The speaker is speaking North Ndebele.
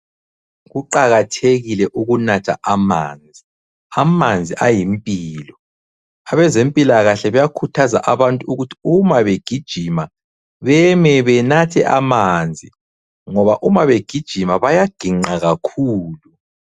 Kuqakathekile ukunatha amanzi, amanzi ayimpilo. Abezempilakahle bayakhuthaza abantu ukuthi uma begijima beme benathe amanzi ngoba uma begijima bayaginqa kakhulu.